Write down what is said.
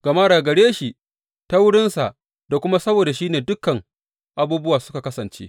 Gama daga gare shi, ta wurinsa, da kuma saboda shi ne dukan abubuwa suka kasance.